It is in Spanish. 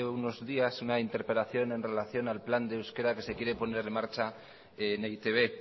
unos días una interpelación en relación al plan de euskera que se quiere poner en marcha en e i te be